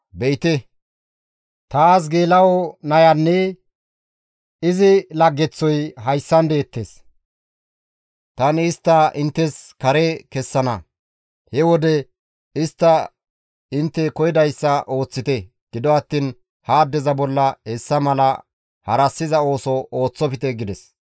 Be7ite! Taas geela7o nayanne iza laggeththoya hayssan deettes. Tani istta inttes kare kessana; he wode istta intte koyidayssa ooththite; gido attiin ha addeza bolla hessa mala harassiza ooso ooththofte» gides.